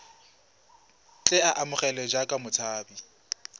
tle a amogelwe jaaka motshabi